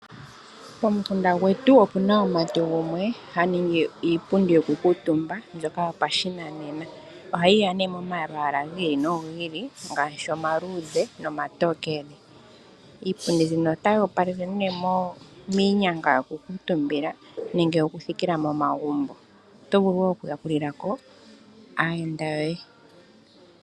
Pomukunda gwetu opu na omumati gumwe ha ningi iipundi yokukuutumba mbyoka yopashinanena. Ohayi ya yi li momalwaala gi ili nogi ili ngaashi omaluudhe nomatookele. Iipundi mbika otayi opalele miinyanga yokukuutumba, nenge yokuthikila momagumbo. Oto vulu wo okuyakulila ko aayenda yoye.